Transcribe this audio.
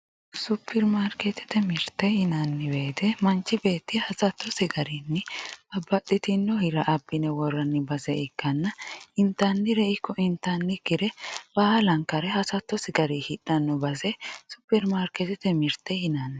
Suppermaarkeetete mirte yinanni woyte manchi beetti hasattosi garinni babbaxxitino hira abbine worroonni base ikkanna intannire ikko intannikkire baalankare hasattosi garinni hidhanno base suppermaarkeetete mirte yinanni